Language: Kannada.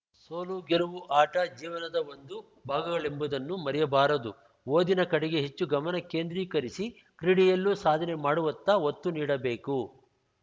ಸೋಲು ಗೆಲವು ಆಟ ಜೀವನದ ಒಂದು ಭಾಗಗಳೆಂಬುದನ್ನು ಮರೆಯಬಾರದು ಓದಿನ ಕಡೆಗೆ ಹೆಚ್ಚು ಗಮನ ಕೇಂದ್ರೀಕರಿಸಿ ಕ್ರೀಡೆಯಲ್ಲೂ ಸಾಧನೆ ಮಾಡುವತ್ತ ಒತ್ತು ನೀಡಬೇಕು